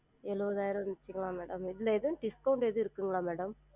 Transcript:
எழுவதாயிரம் madam இதுல எதும் discount எதும் இருக்குங்களா madam?